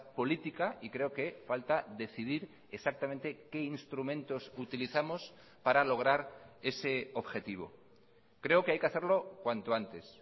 política y creo que falta decidir exactamente qué instrumentos utilizamos para lograr ese objetivo creo que hay que hacerlo cuanto antes